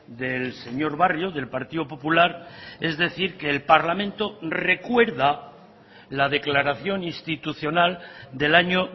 del señor barrio del partido popular es decir que el parlamento recuerda la declaración institucional del año